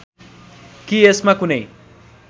कि यसमा कुनै